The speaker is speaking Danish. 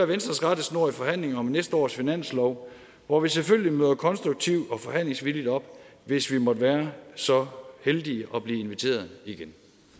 venstres rettesnor i forhandlingerne om næste års finanslov hvor vi selvfølgelig møder konstruktive og forhandlingsvillige op hvis vi måtte være så heldige at blive inviteret igen